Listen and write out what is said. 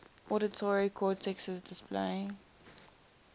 auditory cortexes play